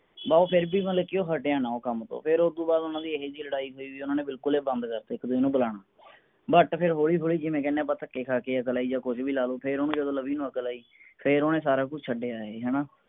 ਬਸ ਉਹ ਫੇਰ ਵੀ ਮਾਨਾ ਕਿ ਹਟਿਆ ਨਾ ਉਹ ਕਮ ਤੋਂ ਫੇਰ ਓਹਨਾ ਦੀ ਇੰਜੀ ਲੜਾਈ ਹੋਇ ਓਹਨਾ ਨੇ ਬਿਲਕੁਲ ਹੀ ਬੰਦ ਕਰਤਾ ਇਕ ਦੂਜੇ ਨੂੰ ਬੁਲਾਣਾ but ਫੇਰ ਹੋਲੀ ਹੋਲੀ ਜਿਵੇ ਆਪਾ ਕਹਨੇ ਥਕਏ ਖਾ ਕੇ ਅਕਲ ਆਈ ਜਾ ਕੁਜ ਵੀ ਲਾਲੋ ਫੇਰ ਓਵੇ ਜਿਵੇ ਲਵੀ ਨੂੰ ਅਕਲ ਆਈ ਫੇਰ ਓਹਨੇ ਸਾਰਾ ਕੁਜ ਛਡਿਆ ਹੈ ਹਣਾ